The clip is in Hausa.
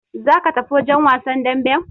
Za ka tafi wajen wasan damben!